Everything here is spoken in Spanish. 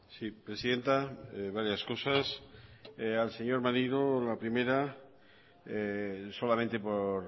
sí presidenta varias cosas al señor maneiro la primera solamente por